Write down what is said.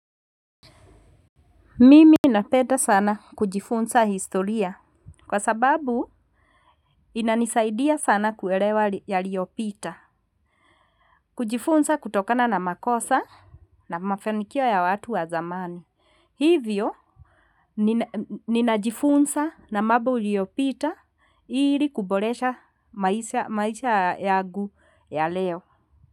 Mimi na peda sana kujifunza historia. Kwa sababu inanisaidia sana kuerewa ya liopita. Kujifunsa kutokana na makosa na mafanikia ya watu wa zamani. Hivyo nina ninajifunsa na mambo iliopita ili kuboresha maisha yagu ya leo.